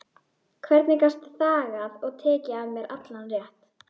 Hvernig gastu þagað og tekið af mér allan rétt?